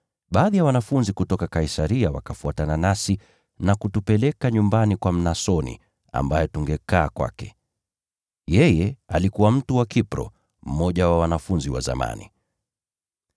Baadhi ya wanafunzi kutoka Kaisaria wakafuatana nasi na kutupeleka nyumbani kwa Mnasoni, ambaye tungekaa kwake. Yeye alikuwa mtu wa Kipro, mmoja wa wanafunzi wa zamani.